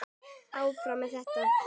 Áfram með þetta.